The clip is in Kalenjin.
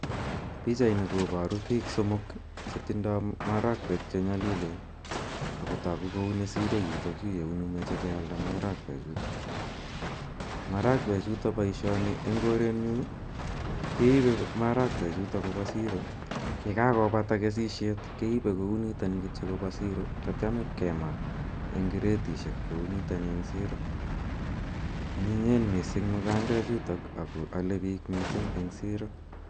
Pichaini koparu pik somok che tindai marakwek che nyalilen ako tagu kou ni siro yutayu ye uni mache kealdae marakwechutok. Marakwechutok, poishoni eng' korenyu, keipe marakwechutok kopa siro ye kakopata kesishet keipe kou nitani kiyo kopa siro tatiam ipkema eng' kretishek kou nitani en siro. Anyinyen missing' mukandechutok ako ale pik missing' eng' siro.